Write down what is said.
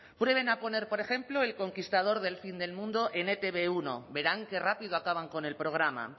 prueben a poner por ejemplo el conquistador del fin del mundo en e te be uno verán qué rápido acaban con el programa